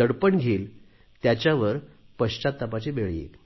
दडपण घेईल त्याच्यावर पश्चात्तापाची वेळ येईल